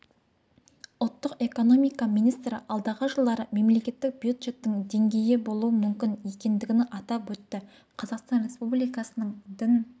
ұлттық экономика министрі алдағы жылдары мемлекеттік бюджеттің деңгейі болуы мүмкін екендігін атап өтті қазақстан республикасының дін